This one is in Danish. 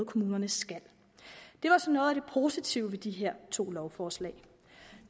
kommunerne skal det var så noget af det positive ved de her to lovforslag